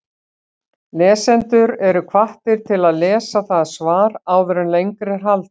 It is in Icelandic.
Lesendur eru hvattir til að lesa það svar áður en lengra er haldið.